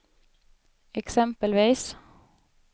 exempelvis